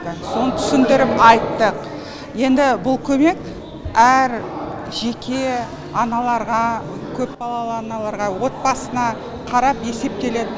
соны түсіндіріп айттық енді бұл көмек әр жеке аналарға көпбалалалы аналарға отбасына қарап есептеледі